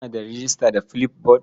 Kana da rejista da Flipboard?